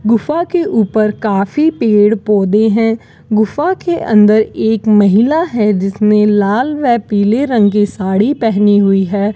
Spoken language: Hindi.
गुफा के ऊपर काफी पेड़ पौधे हैं गुफा के अंदर एक महिला है जिसने लाल व पीले रंग की साड़ी पहनी हुई है।